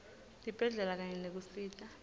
tibhedlela kanye nekusita